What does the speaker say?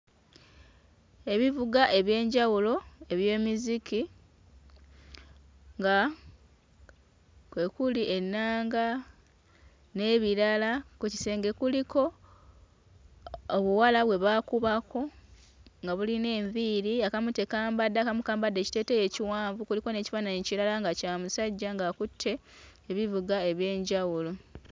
Ebivuga eby'enjawulo eby'emiziki nga kwe kuli ennanga n'ebirala, ku kisenge kuliko obuwala bwe baakubako nga bulina enviiri akamu tekambadde akamu kambadde ekiteeteeyi ekiwanvu kuliko n'ekifaananyi ekirala nga kya musajja ng'akutte ebivuga eby'enjawulo.